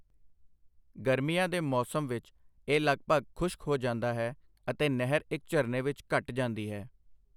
ਗਰਮੀਆਂ ਦੇ ਮੌਸਮ ਵਿੱਚ ਇਹ ਲਗਭਗ ਖੁਸ਼ਕ ਹੋ ਜਾਂਦਾ ਹੈ, ਅਤੇ ਨਹਿਰ ਇੱਕ ਝਰਨੇ ਵਿੱਚ ਘਟ ਜਾਂਦੀ ਹੈ।